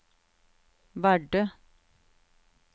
Vardø